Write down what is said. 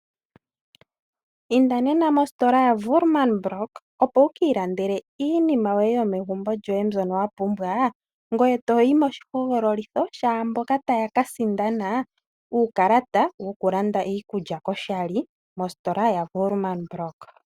Inda nena mositola yo Woerman block opo wuki ilandele iinima yoye yomegumbo mbyoka wapumbwa